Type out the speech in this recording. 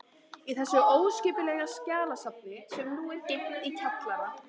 Í þessu óskipulega skjalasafni, sem nú er geymt í kjallara